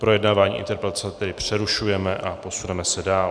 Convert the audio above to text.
Projednávání interpelace tedy přerušujeme a posuneme se dál.